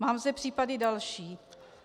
Mám zde případy další.